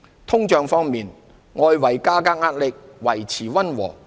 通脹方面，外圍價格壓力料維持溫和。